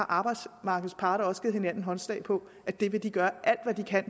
arbejdsmarkedets parter har også givet hinanden håndslag på at de vil gøre alt hvad de kan